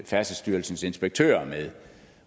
færdselsstyrelsens inspektører med